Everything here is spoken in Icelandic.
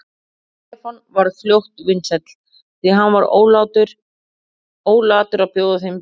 Stefán varð fljótt vinsæll, því hann var ólatur að bjóða þeim í bíltúr.